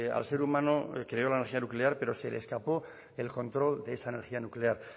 al ser humano creo la energía nuclear pero se le escapó el control de esa energía nuclear